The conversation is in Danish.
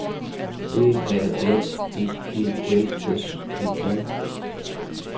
D A N I E L S E N